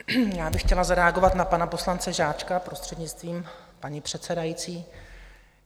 Já bych chtěla zareagovat na pana poslance Žáčka, prostřednictvím paní předsedající.